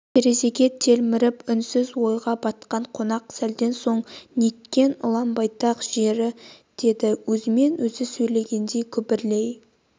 терезеге телміріп үнсіз ойға батқан қонақ сәлден соң неткен ұлан-байтақ жері деді өзімен өзі сөйлескендей күбірлей